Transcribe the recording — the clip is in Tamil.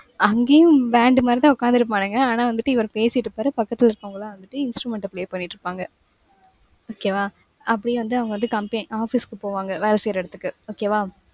அங்கேயும் band மாதிரிதான் உட்கார்ந்திருப்பானுங்க. ஆனா வந்துட்டு இவரு பேசிட்டு இருப்பாரு. பக்கத்துல இருக்குறவங்கலாம் வந்துட்டு instrument அ play பண்ணிட்டு இருப்பாங்க. okay வா. அப்படியே வந்து அவங்க வந்து compa~ office க்கு போவாங்க. வேலை செய்யுற இடத்துக்கு. okay வா.